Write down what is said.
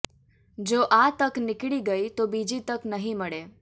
જો આ તક નિકળી ગઇ તો બીજી તક નહી મળે